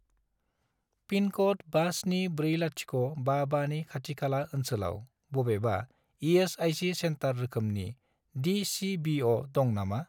पिनक'ड 574055 नि खाथि खाला ओनसोलाव बबेबा इ.एस.आइ.सि. सेन्टार रोखोमनि डि.चि.बि.अ. दं नामा?